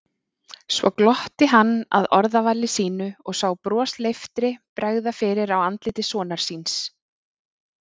Svo glotti hann að orðavali sínu og sá brosleiftri bregða fyrir á andliti sonar síns.